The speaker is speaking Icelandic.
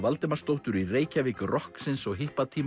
Valdimarsdóttur í Reykjavík rokksins og